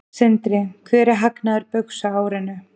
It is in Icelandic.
Sindri: Hver er hagnaður Baugs á árinu?